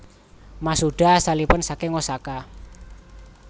Masuda asalipun saking Osaka